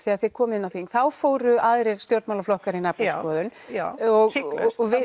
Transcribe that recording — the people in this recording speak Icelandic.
þegar þið komuð inn á þing þá fóru aðrir stjórnmálaflokkar í naflaskoðun